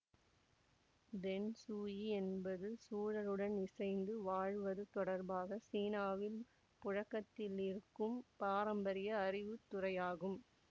Peng shui என்பது சூழலுடன் இசைந்து வாழ்வது தொடர்பாக சீனாவில் புழக்கத்திலிருக்கும் பாரம்பரிய அறிவுத்துறையாகும்